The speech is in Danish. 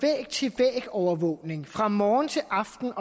overvågning fra morgen til aften